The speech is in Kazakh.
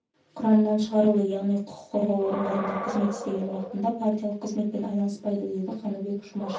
құрамынан шығарылды яғни құқық қорғау орындарында қызмет істеген уақытында партиялық қызметпен айналыспайды деді қаныбек жұмашев